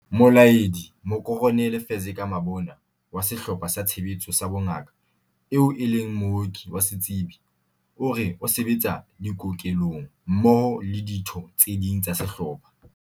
Molaedi Mokoronele Fezeka Mabona wa Sehlopha sa Tshebetso sa Bongaka, eo e leng mooki wa setsebi, o re o se betsa dikokelong mmoho le ditho tse ding tsa sehlopha.